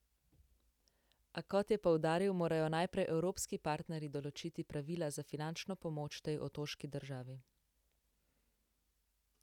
A, kot je poudaril, morajo najprej evropski partnerji določiti pravila za finančno pomoč tej otoški državi.